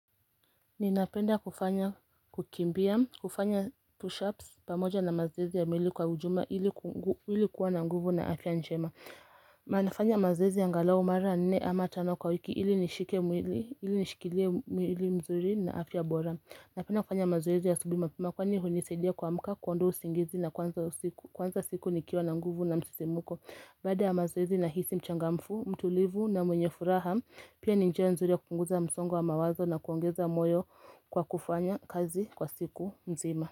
Ninapenda kufanya kukimbia, kufanya pushups pamoja na mazoezi ya meli kwa ujuma ilikuwa na nguvu na afya njema Mnafanya mazoezi angalau mara nne ama tano kwa wiki ili nishike mwili, ili nishikile mwili mzuri na afya bora Napenda kufanya mazoezi ya asubuhi mapema kwani hunisadia kuamka kuondoa usingizi na kuanza siku kwanza siku nikiwa na nguvu na msisimuko Baada ya mazoezi nahisi mchangamfu, mtulivu na mwenye furaha Pia ni njia nzuri ya kupunguza msongo wa mawazo na kuongeza moyo kwa kufanya kazi kwa siku mzima.